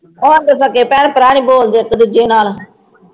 ਹੁਣ ਤਾਂ ਸਕੇ ਭੈਣ ਭਰਾ ਨੀ ਬੋਲਦੇ ਇਕ ਦੂਜੇ ਨਾਲ